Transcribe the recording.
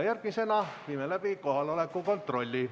Järgmisena viime läbi kohaloleku kontrolli.